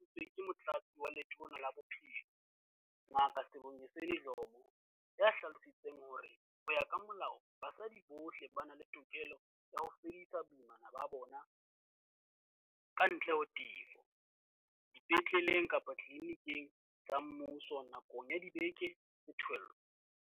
Maikutlo ana a hlahisitswe ke Motlatsi wa Letona la Bophelo, Ngaka Sibongiseni Dhlomo, ya hlalosang hore, ho ya ka molao, basadi bohle ba na le tokelo ya ho fedisa boimana ba bona, kantle ho tefo, dipetleleng kapa ditliliniking tsa mmuso nakong ya dibeke tsa pele tse 12.